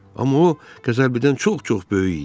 Amma o qəzəbilidən çox-çox böyük idi.